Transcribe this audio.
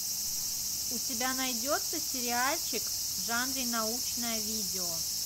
у тебя найдется сериальчик в жанре научное видео